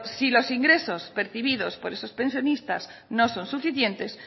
si los ingresos percibidos por esos pensionistas no son suficientes